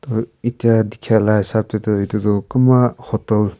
uh etia dikhai la hisap de tu edu tu kumba hotel .